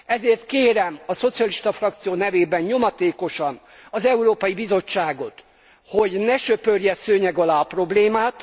Ezért kérem a szocialista frakció nevében nyomatékosan az Európai Bizottságot, hogy ne söpörje szőnyeg alá a problémát.